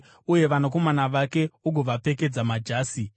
Uye vanakomana vake ugovapfekedza majasi